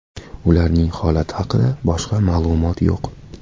Ularning holati haqida boshqa ma’lumot yo‘q.